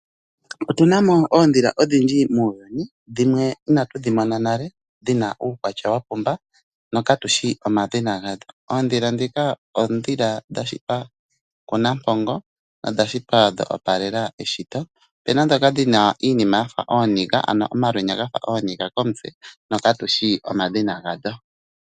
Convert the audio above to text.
Otunamo oondhila odhindji muuyuni dhimwe inatu dhi mona nale dhina uukwatya wapumba no ka katushi omadhina gadho. Oondhila ndhika oondhila dha shitwa kuNampongo odha shitwa dha opalela eshito. Opena ndhoka dhina iinima yafa ooniga ano omalwenya gafa ooniga komutse no katushi omadhina gadho.